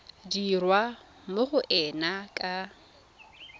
dirwa mo go ena ka